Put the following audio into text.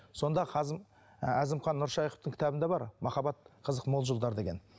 сонда і әзімхан нұршайықовтың кітабында бар махаббат қызық мол жылдар деген